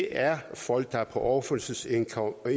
er folk der er på overførselsindkomst og